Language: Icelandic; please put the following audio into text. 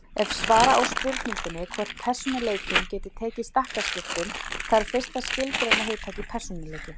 Ef svara á spurningunni hvort persónuleikinn geti tekið stakkaskiptum þarf fyrst að skilgreina hugtakið persónuleiki.